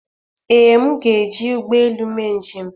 ee, m ga-eji ụgbọ elu mee njem